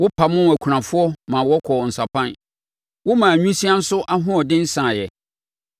Wopamoo akunafoɔ ma wɔkɔɔ nsapan na womaa nwisiaa nso ahoɔden saeɛ.